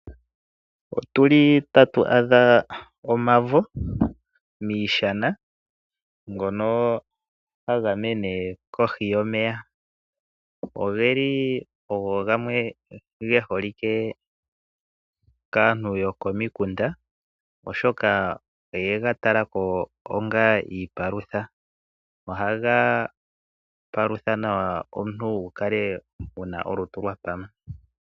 Otu li tatu adha omavo miishana ngono haga mene kohi yomeya. Oge li ogo gamwe ge holike kaantu yokomikunda, oshoka oye ga tala ko onga iipalutha. Ohaga palutha nawa omuntu wu kale wu na olutu lwa pama.